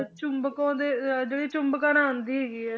ਚੁੰਬਕ ਉਹਦੇ ਅਹ ਜਿਹੜੀ ਚੁੰਬਕ ਨਾਲ ਆਉਂਦੀ ਹੈਗੀ ਹੈ।